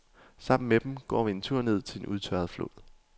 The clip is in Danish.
Sammen med dem går vi en tur ned til en udtørret flod.